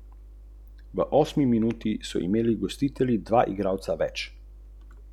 Gajser ima zdaj lepo priložnost, da prednost poveča.